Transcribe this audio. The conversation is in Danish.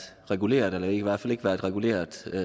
reguleret eller i hvert fald ikke været reguleret